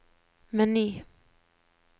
meny